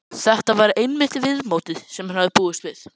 Þetta var einmitt viðmótið sem hann hafði búist við.